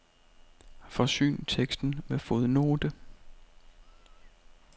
Forsyn teksten med fodnote.